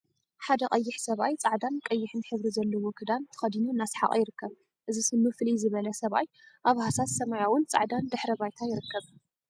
ሓደ ቀይሕ ሰብኣይ ጻዕዳን ቀይሕ ሕብሪ ዘለዎ ክዳን ተከዲኑ እናሰሓቀ ይርከብ። እዚ ስኑ ፍልይ ዝበለ ሰብኣይ ኣብ ሃሳስ ስማያዊን ጻዕዳን ድሕረ ባይታ ይርከብ።